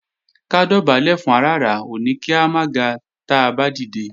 Ká dọ̀bálẹ̀ fún aràrá ò ní kí a máa ga táa bá dìde